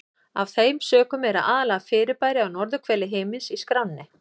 Af þeim sökum eru aðallega fyrirbæri á norðurhveli himins í skránni.